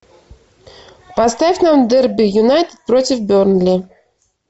поставь нам дерби юнайтед против бернли